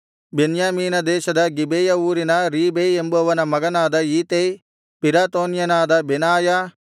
ಬೆನ್ಯಾಮೀನ ದೇಶದ ಗಿಬೆಯ ಊರಿನ ರೀಬೈ ಎಂಬುವನ ಮಗನಾದ ಈತೈ ಪಿರಾತೋನ್ಯನಾದ ಬೆನಾಯ